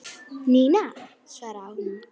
Ína, svaraði hún.